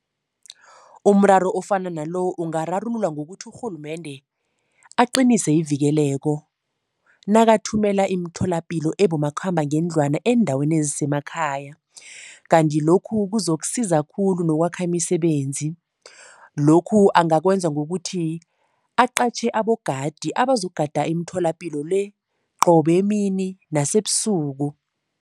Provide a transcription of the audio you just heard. Umraro ofana nalo ungararululwa ngokuthi urhulumende aqinise ivikeleko, nakathumela imitholapilo ebomakhambangendlwana eendaweni ezisemakhaya Kanti lokhu kuzokusiza khulu nokwakha imisebenzi. Lokhu angakwenza ngokuthi aqatjhe abogadi abazokugada imitholapilo le, qobe emini nasebusuku.